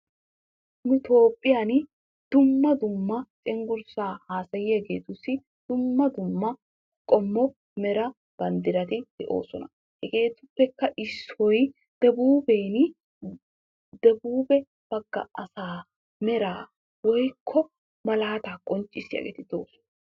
Nu Toophiyaan dumma dumma cenggurssa haassayiyaageetussi dumma dumma qommo mera bamddrati de'oosona. Hegetuppekka issoy debbuuben, debbuube baggaa asaa meraa woykko malaata qonccissiyaageeti doosona.